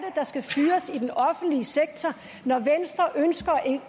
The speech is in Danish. der skal fyres i den offentlige sektor når venstre ønsker